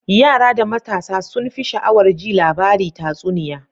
Yara da matasa sunfi sha'awar ji labari tatsuniya.